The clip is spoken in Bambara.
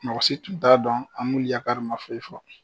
Mɔgɔ si tun t'a dɔn ma foyi fɔ